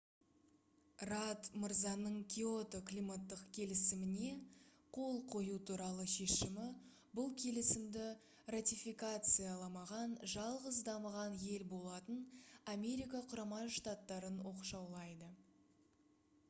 радд мырзаның киото климаттық келісіміне қол қою туралы шешімі бұл келісімді ратификацияламаған жалғыз дамыған ел болатын америка құрама штаттарын оқшаулайды